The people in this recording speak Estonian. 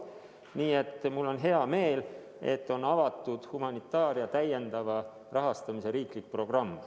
Nii et mul on hea meel, et on avatud humanitaaria täiendava rahastamise riiklik programm.